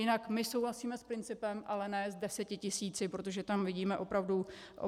Jinak my souhlasíme s principem, ale ne s deseti tisíci, protože tam vidíme opravdu riziko.